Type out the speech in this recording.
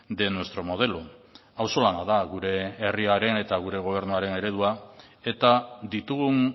de nuestro modelo auzolana da gure herriaren eta gure gobernuaren eredua eta ditugun